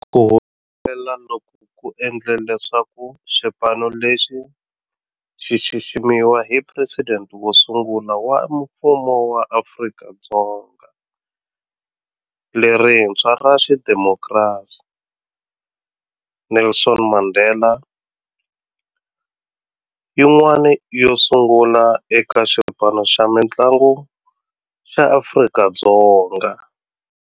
Ku humelela loku ku endle leswaku xipano lexi xi xiximiwa hi Presidente wo sungula wa Mfumo wa Afrika-Dzonga lerintshwa ra xidemokirasi, Nelson Mandela, yin'wana yo sungula eka xipano xa mintlangu xa Afrika-Dzonga.